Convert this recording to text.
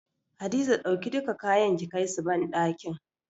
Hadiza dauki duka kayan ki kai su banɗakin.